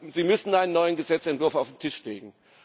Sie müssen einen neuen Gesetzentwurf auf den Tisch legen.